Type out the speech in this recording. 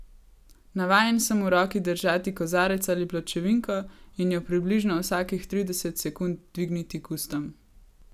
Navajen sem v roki držati kozarec ali pločevinko in jo približno vsakih trideset sekund dvigniti k ustom.